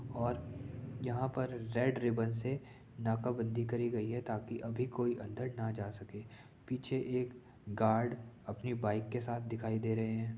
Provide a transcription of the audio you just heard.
और यहाँ पर रेड रिबन से नाकाबंदी करी गयी है ताकि अभी कोई अन्दर न जा सके पीछे एक गार्ड अपनी बाइक के साथ दिखाई दे रहे हैं।